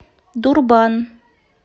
дурбан